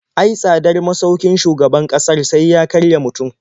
Ai tsadar masaukin shugaban ƙasar sai ya karya mutum.